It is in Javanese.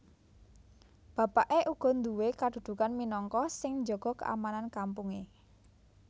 Bapaké uga nduwé kadudukan minangka sing njaga keamanan kampungé